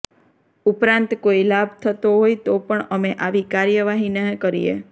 ઉપરાંત કોઈ લાભ થતો હોય તો પણ અમે આવી કાર્યવાહી ન કરીએ